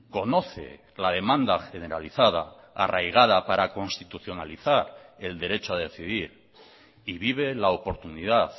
conoce la demanda generalizada arraigada para constitucionalizar el derecho a decidir y vive la oportunidad